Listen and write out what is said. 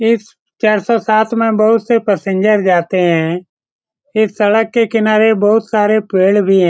इस चार सौ सात में बहुत से पैसेंजर जाते हैं इस सड़क के किनारे बहुत सारे पेड़ भी हैं |